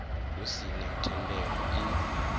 hu si na thendelo i